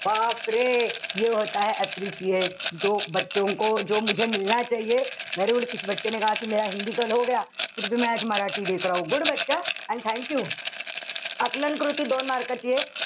appreciate very good and thank you. आकलन कृती दोन mark ची ए.